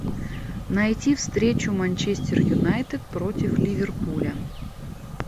найти встречу манчестер юнайтед против ливерпуля